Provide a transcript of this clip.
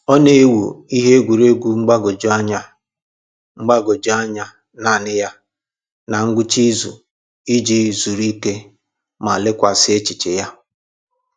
Ọ na-ewu ihe egwuruegwu mgbagwoju anya mgbagwoju anya naanị ya na ngwụcha izu iji zuru ike ma lekwasị echiche ya.